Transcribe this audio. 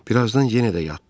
Birazdan yenə də yatdı.